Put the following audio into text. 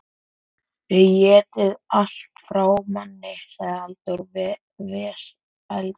Þið étið allt frá manni, sagði Halldór vesældarlega.